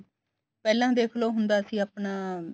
ਪਹਿਲਾਂ ਦੇਖਲੋ ਹੁੰਦਾ ਸੀ ਆਪਣਾ